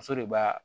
Muso de b'a